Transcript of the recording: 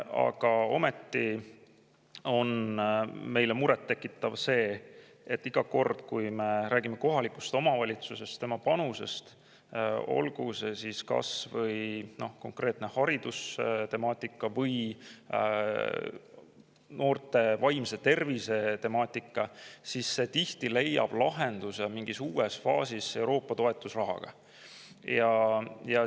Aga ometi on meile muret tekitav see, et iga kord, kui me räägime kohalikust omavalitsusest ja tema panusest, olgu see siis kas või konkreetne haridustemaatika või noorte vaimse tervise temaatika, siis tihti leiab rahastuse mingis uues faasis Euroopa toetus.